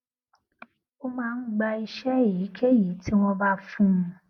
ó máa ń gba iṣé èyíkéyìí tí wón bá fún un